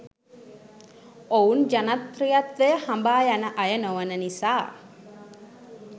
ඔවුන් ජනප්‍රියත්වය හඹා යන අය නොවන නිසා.